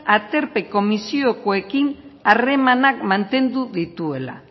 aterpe komisiokoekin harremanak mantendu dituela